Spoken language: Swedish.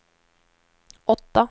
åtta